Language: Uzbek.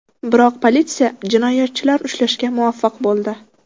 Biroq politsiya jinoyatchilarni ushlashga muvaffaq bo‘ldi.